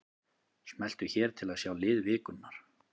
Smelltu hér til að sjá lið vikunnar